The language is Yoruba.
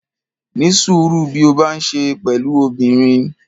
Ní sùúrú bí o bá ń ṣe pẹ̀lú obìnrin.